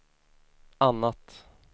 annat